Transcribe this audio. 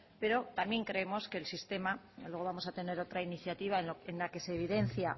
pero también creemos que el sistema luego vamos a tener otra iniciativa en la que se evidencia